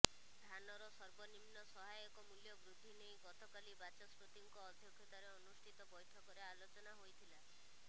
ଧାନର ସର୍ବନିମ୍ନ ସହାୟକ ମୂଲ୍ୟ ବୃଦ୍ଧି ନେଇ ଗତକାଲି ବାଚସ୍ପତିଙ୍କ ଅଧ୍ୟକ୍ଷତାରେ ଅନୁଷ୍ଠିତ ବୈଠକରେ ଆଲୋଚନା ହୋଇଥିଲା